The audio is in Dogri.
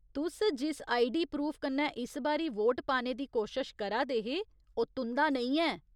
तुस जिस आईडी प्रूफ कन्नै इस बारी वोट पाने दी कोशश करा दे हे, ओह् तुं'दा नेईं ऐ।